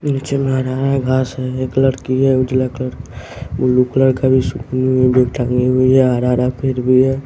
नीचे मे हरा हरा घास है एक लड़की है उजला कल ब्लू कलर का टांगी हुई है हरा हरा फिर भी है।